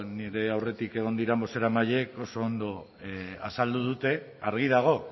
nire aurretik egon diren bozeramaileek oso ondo azaldu dute argi dago